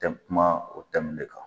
Tɛ kuma o tɛmu de kan